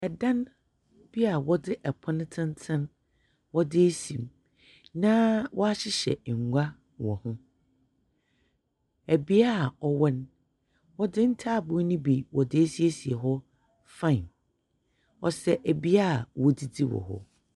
Ɛdan bi ɔde ɛpono tenten wɔde asi mu na wahyehyɛ ngua wɔ ho ɛbea a wɔwɔ no ɔde ntaaboɔ ne bi wɔde asiesie hɔ faen ɔsɛ ɛbea wɔdidi wɔ hɔ.